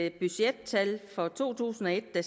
et budgettal for to tusind og et der